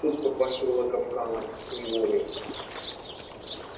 тут попахивало капканом неволей